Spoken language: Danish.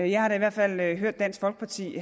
jeg har da i hvert fald hørt dansk folkeparti